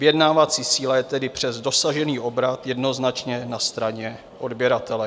Vyjednávací síla je tedy přes dosažený obrat jednoznačně na straně odběratele.